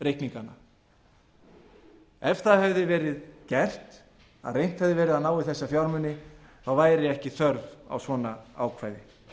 reikningana ef það hefði verið gert að reynt hefði verið að ná í þessa fjármuni væri ekki þörf á svona ákvæði